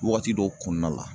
Wagati dɔw kɔnɔna la